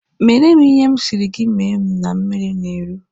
Meere m ihe m sịrị gị mee na mmiri na-eru!